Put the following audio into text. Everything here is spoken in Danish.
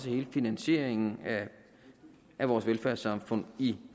hele finansieringen af vores velfærdssamfund i